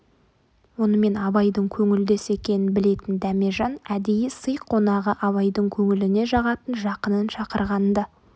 онымен абайдың көңілдес екенін білетін дәмежан әдейі сый қонағы абайдың көңіліне жағатын жақынын шақырған-ды